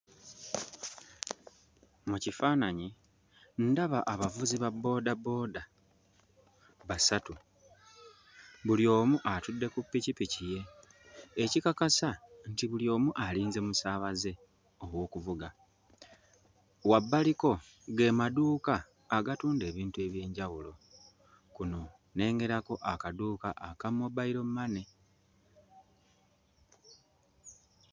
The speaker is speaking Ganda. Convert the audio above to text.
Mu kifaananyi ndaba abavuzi ba bboodabooda basatu. Buli omu atudde ku ppikipiki ye ekikakasa nti buli omu alinze musaabaze ow'okuvuga. Wabbaliko ge maduuka agatunda ebintu eby'enjawulo. Kuno nnengerako akaduuka aka mobayiro mmane.